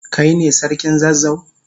Kai ne sarkin zazzau?